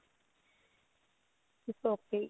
its ok